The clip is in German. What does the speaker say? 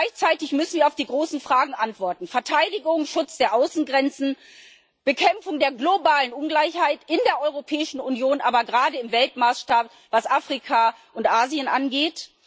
Gleichzeitig müssen wir auf die großen Fragen antworten Verteidigung, Schutz der Außengrenzen, Bekämpfung der globalen Ungleichheit in der europäischen Union, aber gerade im Weltmaßstab, was Afrika und Asien angeht.